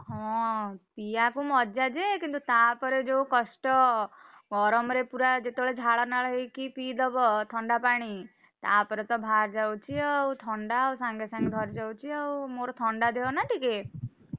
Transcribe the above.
ହଁ ପିଇଆକୁ ମଜା ଯେ କିନ୍ତୁ ତା ପରେ ଯୋଉ କଷ୍ଟ ଗରମରେ ଯେତବେଳେ ପୁରା ଝାଳ ନାଳ ହେଇକି ପିଇ ଦବ ଥଣ୍ଡା ପାଣି ତାପରେତ ବାହାରିଯାଉଛି ଆଉ ଥଣ୍ଡା ଆଉ ସାଙ୍ଗେ ଧରିଦଉଛି ଆଉ, ମୋର ଥଣ୍ଡା ଦେହ ନା ଟିକେ,